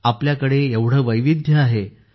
आपल्याकडे एवढे वैविध्य आहे